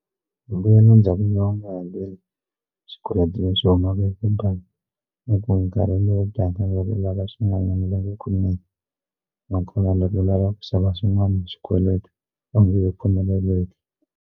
Mbuyelo u nga hakeli swikweleti leswi humaka ka bangi ni ku nkarhi lowu taka loko u lava swin'wananyana va nge ku nyiki nakona loko u lava ku xava swin'wana hi xikweleti a wu nge he pfumeleleki.